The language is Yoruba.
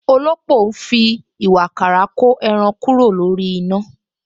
Òlópò ń fi ìwààkàrà ko ẹran kúrò lórí